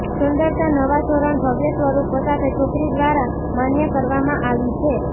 સુંદરતા નવા ધોરણ ભવ્ય સ્વરૂપો સાથે છોકરી દ્વારા માન્ય કરવામાં આવી છે